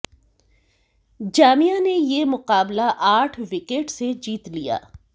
जामिया ने यह मुकाबला आठ विकेट से जीत लिया